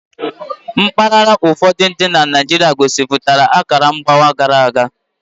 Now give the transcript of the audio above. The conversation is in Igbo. Mpaghara ụfọdụ dị na Naịjirịa gosipụtara akara mgbawa gara aga.